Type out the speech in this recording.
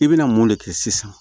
I bɛna mun de kɛ sisan